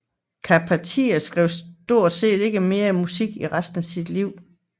Charpentier skrev stort set ikke mere musik i resten af sit liv